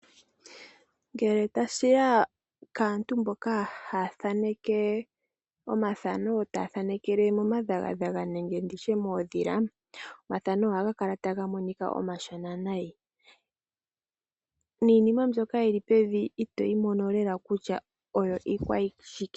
Ngele tashi ya kaantu mboka ha ya thaneke omathano taya thanekele mo madhagadhaga nenge nditye moodhila omafano oha ga kala taga monika omashona nayi niinima mbyoka yili pevi itoyi mono lela kutya oyo ikwashike.